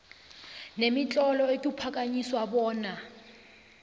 nemitlolo ekuphakanyiswa bona